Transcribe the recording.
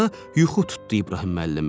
yuxu tutdu İbrahim müəllimi.